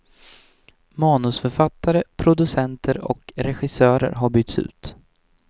Manusförfattare, producenter och regissörer har bytts ut.